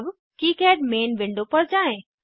अब KiCad main window पर जाएँ